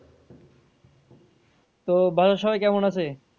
তো বাসার সবাই কেমন আছে?